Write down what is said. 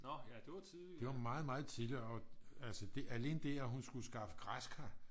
det var meget meget tidligt og alene det at hun skulle skaffe græskar